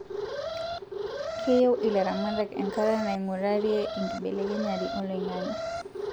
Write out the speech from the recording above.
Keyieu ilaramatak enkata naingurarie enkibelekenyare oloingange